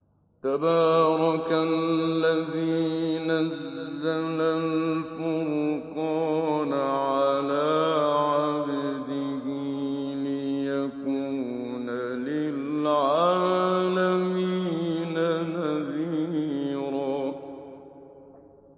تَبَارَكَ الَّذِي نَزَّلَ الْفُرْقَانَ عَلَىٰ عَبْدِهِ لِيَكُونَ لِلْعَالَمِينَ نَذِيرًا